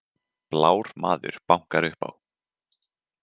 Blár maður bankar upp á